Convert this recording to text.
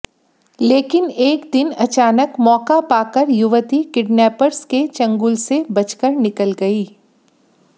लेकिन एक दिन अचानक मौका पाकर युवती किडनैपर्स के चंगुल से बचकर निकल गई